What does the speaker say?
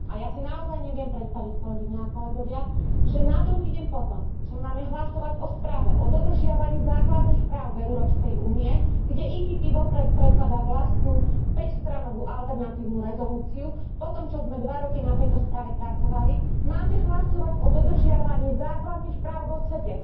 A ja si naozaj neviem predstaviť, kolegyne a kolegovia, že na druhý deň po tom, čo máme hlasovať o správe, o dodržiavaní základných práv v Európskej únii, kde PPE vopred predkladá vlastnú päťstranovú alternatívnu rezolúciu po tom, čo sme dva roky na tejto správe pracovali, máme hlasovať o dodržiavaní základných práv vo svete.